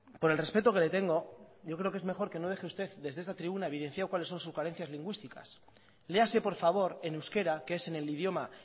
por el respeto que le tengo yo creo que es mejor que no deje usted desde esta tribuna evidenciado cuáles son sus carencias lingüísticas léase por favor en euskera que es en el idioma